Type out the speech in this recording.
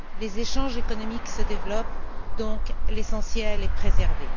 Les échanges économiques se développent, donc l'essentiel est préservé.